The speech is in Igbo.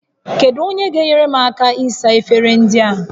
Kedu onye ga-enyere m aka ịsa efere ndị a?